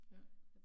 Ja